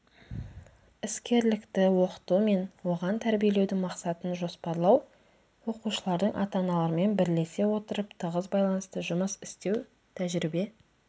іскерлікті оқыту мен оған тәрбиелеудің мақсатын жоспарлау оқушылардың ата-аналармен бірлесе отырып тығыз байланыста жұмыс істеу тәжірибе